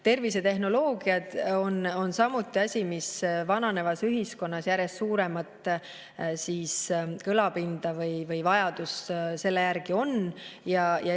Tervisetehnoloogiad on samuti asi, mis vananevas ühiskonnas järjest suuremat kõlapinda ja mille järgi vajadus on.